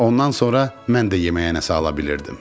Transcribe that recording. Ondan sonra mən də yeməyə nəsə ala bilirdim.